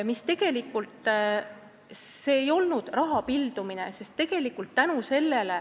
See ei olnud raha laialipildumine.